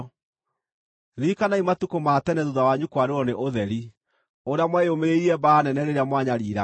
Ririkanai matukũ ma tene thuutha wanyu kwarĩrwo nĩ ũtheri, ũrĩa mweyũmĩrĩirie mbaara nene rĩrĩa mwanyariiragwo.